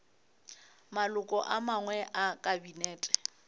maloko a mangwe a kabinete